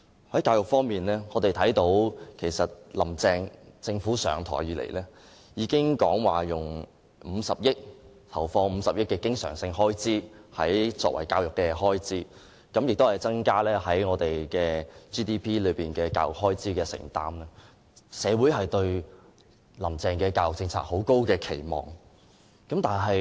在教育方面，我們看到"林鄭"政府上任後，已經說會投放50億元作為教育方面的經常開支，亦會增加教育開支佔 GDP 的比例，社會因此對"林鄭"的教育政策有很高的期望。